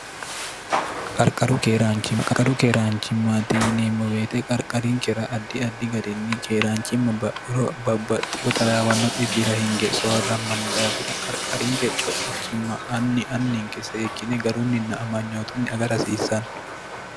qqrqarqaru keeraanchimmaati yineemmo weete qarqarinkera addi addi garinni keeraanchimma bahuro babbaxxiho tlawanno xibira hinge soorrammanni daafira qarqarinke co'ichimma anni anninke seekkine garunninna amanyootunni aga rhasiissanno